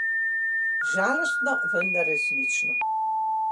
Žalostno, vendar resnično.